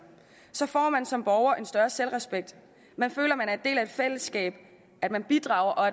får man som borger en større selvrespekt man føler at en del af et fællesskab at man bidrager og